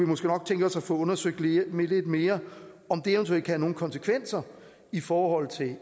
måske nok tænke os at få undersøgt lidt mere om det eventuelt kan have nogle konsekvenser i forhold til